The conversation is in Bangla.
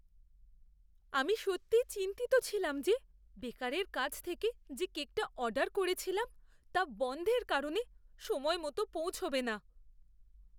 আমি সত্যিই চিন্তিত ছিলাম যে বেকারের কাছ থেকে যে কেকটা অর্ডার করেছিলাম তা বনধের কারণে সময়মতো পৌঁছাবে না।